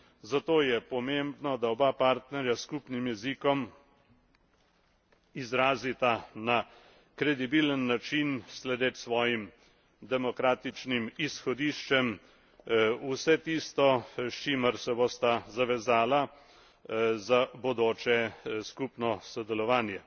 Zato je pomembno, da oba partnerja s skupnim jezikom izrazita na kredibilen način, sledeč svojim demokratičnim izhodiščem, vse tisto, s čimer se bosta zavezala za bodoče skupno sodelovanje.